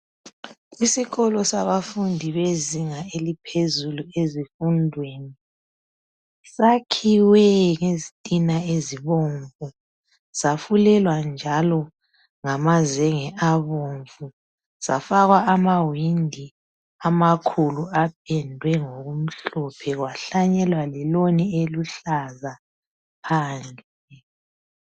Isikolo sabafundi bezinga eliphezulu ezifundweni sakhiwe ngezintina ezibomvu safulelwa njalo ngamazenge abomvu safakwa amawindi amakhulu apendwe ngokumhlophe kwahlanyelwa leloni eluhlaza phandle.